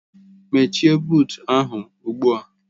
Mechie buut ahụ ugbu a!